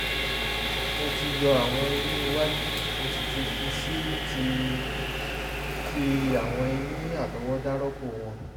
mo ti yọ àwọn eyín iwájú mo sì ti fi sì ti fi àwọn eyín àtọwádá rọ́pò wọn